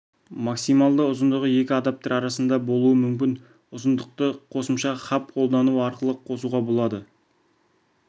максималды ұзындығы ал екі адаптер арасында болуы мүмкін ұзындықты қосымша хаб қолдану арқылы қосуға болады